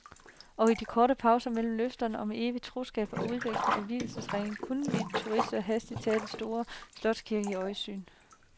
Og i de korte pauser mellem løfterne om evigt troskab og udveksling af vielsesringe kunne vi turister hastigt tage den store slotskirke i øjesyn.